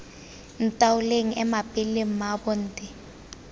ntaoleng ema pele mmaabo nte